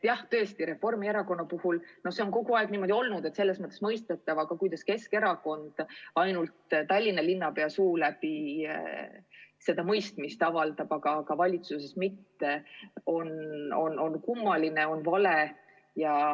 Jah, tõesti, Reformierakonna puhul see on kogu aeg nii olnud ja see on selles mõttes mõistetav, aga kuidas Keskerakond ainult Tallinna linnapea suu läbi seda mõistmist avaldab, aga valitsuses mitte – see on kummaline, on vale.